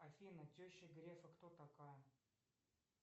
афина теща грефа кто такая